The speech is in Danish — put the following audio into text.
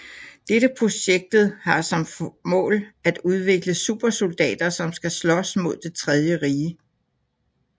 Dette projektet har som mål at udvikle supersoldater som skal slås mod det tredje rige